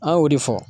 An y'o de fɔ